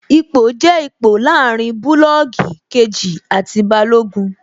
Ipò jẹ́ ipò láàrin bulọọgi kejì àti Balógun